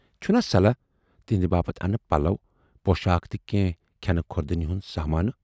چھُنا صلاح تِہٕندِ باپتھ انہٕ پَلو پۅشاکھ تہٕ کینہہ کھٮ۪نہٕ خوردنی ہُند سامانہٕ۔